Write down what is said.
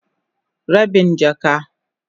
Rabin jaka.